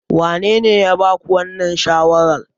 Wanene ya ba ku wannan shawarar?